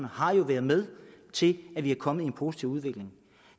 har jo været med til at vi er kommet ind positiv udvikling